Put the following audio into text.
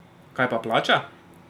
Kaj pa plača?